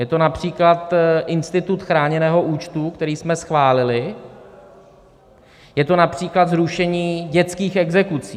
Je to například institut chráněného účtu, který jsme schválili, je to například zrušení dětských exekucí.